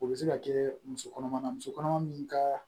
O bɛ se ka kɛ musokɔnɔma na muso kɔnɔma min ka